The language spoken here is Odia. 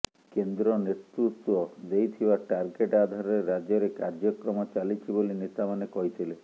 କେନ୍ଦ୍ର ନେତୃତ୍ୱ ଦେଇଥିବା ଟାର୍ଗେଟ୍ ଆଧାରରେ ରାଜ୍ୟରେ କାର୍ଯ୍ୟକ୍ରମ ଚାଲିଛି ବୋଲି ନେତାମାନେ କହିଥିଲେ